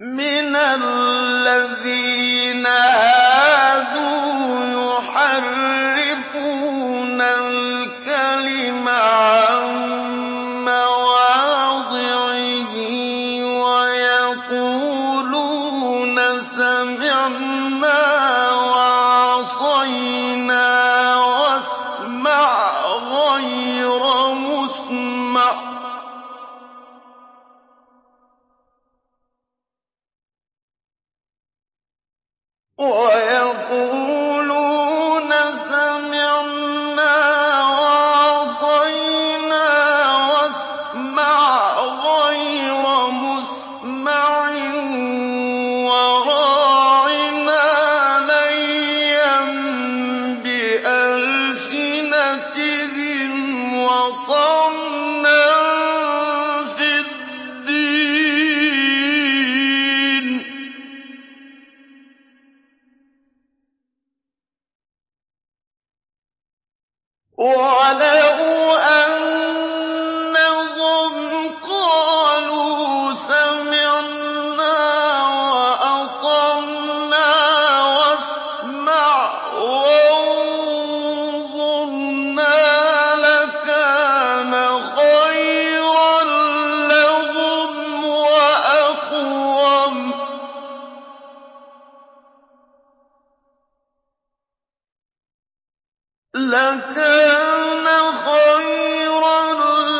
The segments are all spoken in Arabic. مِّنَ الَّذِينَ هَادُوا يُحَرِّفُونَ الْكَلِمَ عَن مَّوَاضِعِهِ وَيَقُولُونَ سَمِعْنَا وَعَصَيْنَا وَاسْمَعْ غَيْرَ مُسْمَعٍ وَرَاعِنَا لَيًّا بِأَلْسِنَتِهِمْ وَطَعْنًا فِي الدِّينِ ۚ وَلَوْ أَنَّهُمْ قَالُوا سَمِعْنَا وَأَطَعْنَا وَاسْمَعْ وَانظُرْنَا لَكَانَ خَيْرًا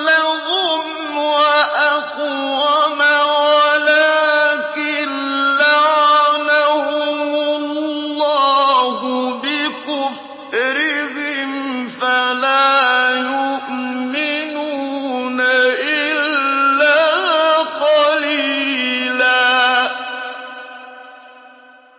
لَّهُمْ وَأَقْوَمَ وَلَٰكِن لَّعَنَهُمُ اللَّهُ بِكُفْرِهِمْ فَلَا يُؤْمِنُونَ إِلَّا قَلِيلًا